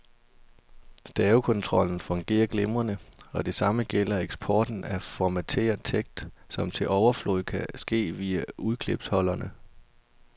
Stavekontrollen fungerer glimrende, og det samme gælder eksporten af formateret tekst, som til overflod kan ske via udklipsholderen.